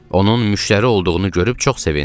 Onun müştəri olduğunu görüb çox sevindim.